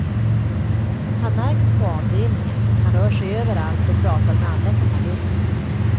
Han märks på avdelningen, rör sig överallt och pratar med alla som har lust.